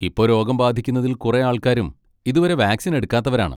ഇപ്പൊ രോഗം ബാധിക്കുന്നതിൽ കുറേ ആൾക്കാരും ഇതുവരെ വാക്സിൻ എടുക്കാത്തവരാണ്.